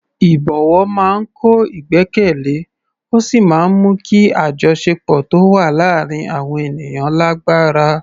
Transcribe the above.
Ìbọ̀wọ̀ máa ń kọ́ ìgbẹ́kẹ̀lé ó sì máa ń mú kí àjọṣepọ̀ tó wà láàárín àwọn ènìyàn lágbára.